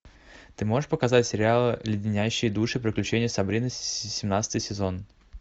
ты можешь показать сериал леденящие душу приключения сабрины семнадцатый сезон